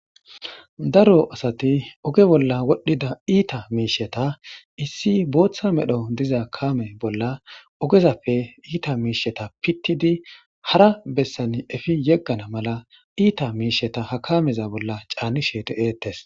daro asati oge bolla wodhdhida iita miisheta issi booththa medho diza kaame bolla ogezappe iita miisheta pittidi hara bessan efi yeggana mala iita miisheta ha kameza bolla caanni sheete deetes